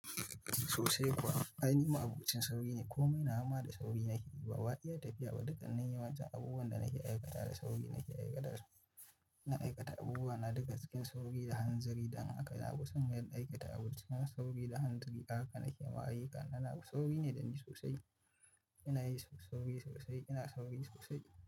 Sosai kuwa, ai ni ma abocin sauyi ne. Komai na gama da sauri nake yi, ba wa iya tafiya ba. Dukkanin yawancin abubuwan da nake aikata da sauri nake aikata su. Ina aikata abubuwa na duka cikin sauyi da hanzari, da haka na kusa yan aikata abubuwa sauyi da hanzari. Haka nake mahayi, ƙananan sauyi ne da ni sosai. Ina yi sauyi sosai, ina sauyi sosai.